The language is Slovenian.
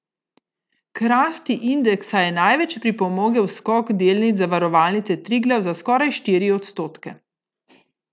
K rasti indeksa je največ pripomogel skok delnic Zavarovalnice Triglav za skoraj štiri odstotke.